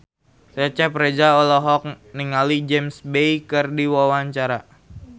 Cecep Reza olohok ningali James Bay keur diwawancara